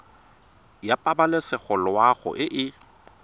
ya pabalesego loago e e